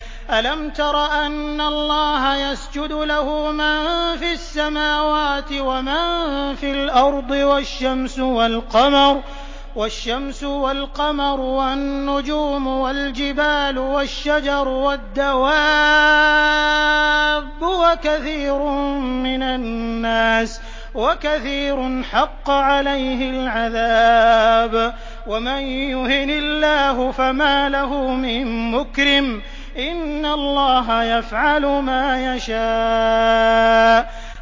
أَلَمْ تَرَ أَنَّ اللَّهَ يَسْجُدُ لَهُ مَن فِي السَّمَاوَاتِ وَمَن فِي الْأَرْضِ وَالشَّمْسُ وَالْقَمَرُ وَالنُّجُومُ وَالْجِبَالُ وَالشَّجَرُ وَالدَّوَابُّ وَكَثِيرٌ مِّنَ النَّاسِ ۖ وَكَثِيرٌ حَقَّ عَلَيْهِ الْعَذَابُ ۗ وَمَن يُهِنِ اللَّهُ فَمَا لَهُ مِن مُّكْرِمٍ ۚ إِنَّ اللَّهَ يَفْعَلُ مَا يَشَاءُ ۩